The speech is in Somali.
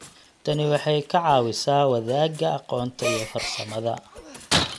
Tani waxay ka caawisaa wadaaga aqoonta iyo farsamada.